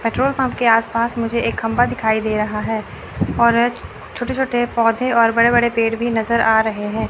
Petrol pump के आस पास मुझे एक खंभा दिखाई दे रहा है और एक छोटे छोटे पौधे और बड़े बड़े पेड़ भी नजर आ रहे हैं।